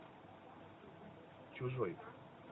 чужой